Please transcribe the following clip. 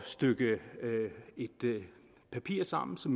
stykke et papir sammen så